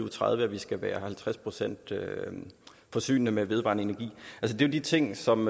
og tredive skal være halvtreds procent forsynet med vedvarende energi det er de ting som